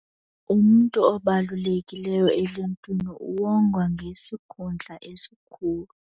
Umntu obalulekileyo eluntwini uwongwa ngesikhundla esikhulu.